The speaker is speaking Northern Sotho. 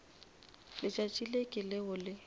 letšatši le ke leo le